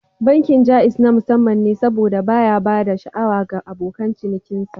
Bankin Jaiz na musamman ne saboda baya ba da sha'awa ga abokan cinikinsa